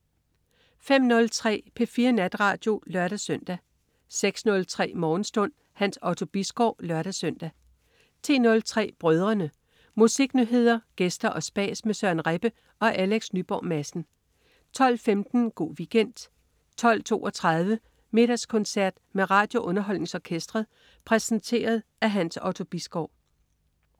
05.03 P4 Natradio (lør-søn) 06.03 Morgenstund. Hans Otto Bisgaard (lør-søn) 10.03 Brødrene. Musiknyheder, gæster og spas med Søren Rebbe og Alex Nyborg Madsen 12.15 Go' Weekend 12.32 Middagskoncert med RadioUnderholdningsOrkestret. Præsenteret af Hans Otto Bisgaard